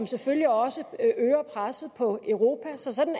selvfølgelig også øger presset på europa så sådan